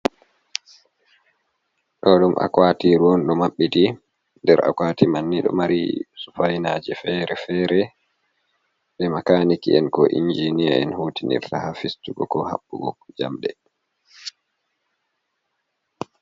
Ɗo ɗum akwatiru ɗo maɓɓiti, der akwati man ni ɗo mari sufainaje fere-fere ɗi makaniki en ko injinia en hutinirta ha fistugo ko Haɓɓugo jamde.